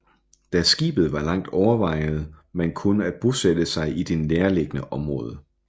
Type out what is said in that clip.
Da skibet var langt overvejede man kun at bosætte sig i det nærliggende område